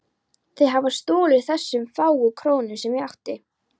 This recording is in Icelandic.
Þeir hafa stolið þessum fáu krónum sem ég átti.